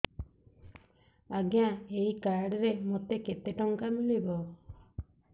ଆଜ୍ଞା ଏଇ କାର୍ଡ ରେ ମୋତେ କେତେ ଟଙ୍କା ମିଳିବ